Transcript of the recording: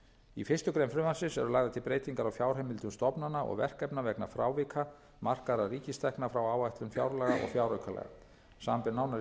í fyrstu grein frumvarpsins eru lagðar til breytingar á fjárheimildum stofnana og verkefna vegna frávika markaðra ríkistekna frá áætlun fjárlaga og fjáraukalaga samanber nánari